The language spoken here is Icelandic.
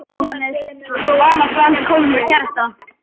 Vala Grand komin með kærasta